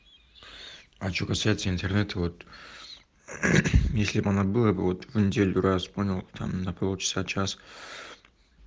а что касается интернета вот если бы она была бы вот в неделю раз понял там на полчаса-час